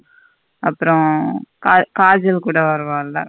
அப்புறம் க கஜ்ஜால் கூட வருவல்ல.